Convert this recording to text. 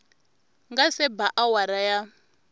nga se ba awara ya